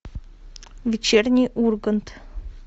вечерний ургант